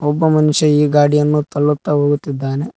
ಒಬ್ಬ ಮನುಷ್ಯ ಈ ಗಾಡಿಯನ್ನು ತಳ್ಳುತ್ತಾ ಹೋಗುತ್ತಿದ್ದಾನೆ.